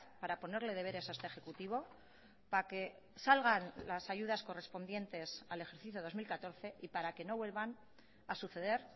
para ponerle deberes a este ejecutivo para que salgan las ayudas correspondientes al ejercicio dos mil catorce y para que no vuelvan a suceder